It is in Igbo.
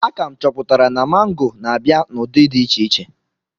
A ka chọpụtara m na mango na-abịa n'ụdị dị iche iche.